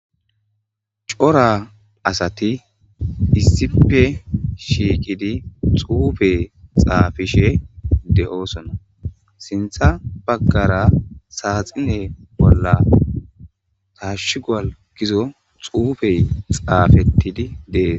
Coora asati issippe shiqidi xufe xafishshe de"ossona sinththa bagra saxine bolla tashuguwal gizo xufey xafetid de'es